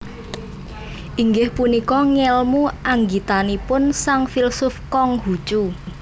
Inggih punika ngèlmu anggitanipun sang filsuf Kong Hu Cu